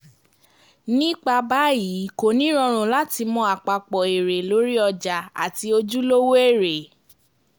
nípa báyìí kò ní rọrùn láti mọ àpapọ̀ èrè lórí ọjà àti ojúlówó èrè